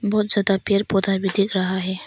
बहुत ज्यादा पेड़ पौधा भी दिख रहा है।